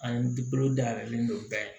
An dayɛlɛlen don bɛɛ ye